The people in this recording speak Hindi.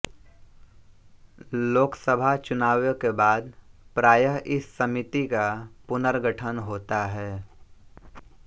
लोकसभा चुनावों के बाद प्रायः इस समिति का पुनर्गठन होता है